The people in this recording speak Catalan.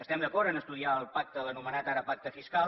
estem d’acord a estudiar el pacte l’anomenat ara pacte fiscal